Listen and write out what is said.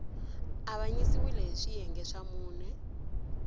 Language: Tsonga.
avanyisiwile hi swiyenge swa mune